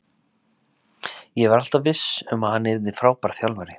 Ég var alltaf viss um að hann yrði frábær þjálfari.